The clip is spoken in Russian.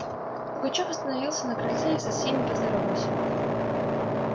пугачёв остановился на крыльце и со всеми поздоровался